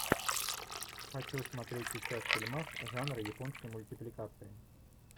хочу смотреть сейчас фильмас жанра японской мультипликации